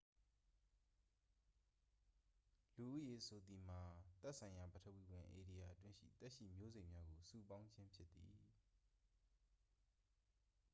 လူဦးရေဆိုသည်မှာမှာ သက်ဆိုင်ရာ ပထဝီဝင် ဧရိယာအတွင်းရှိ သက်ရှိ မျိုးစိတ်များကို စုပေါင်းခြင်း ဖြစ်သည်